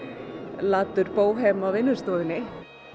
latur bóhem á vinnustofunni